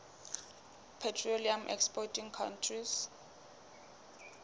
petroleum exporting countries